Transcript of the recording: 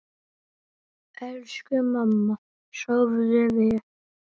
Elsku mamma, sofðu vel.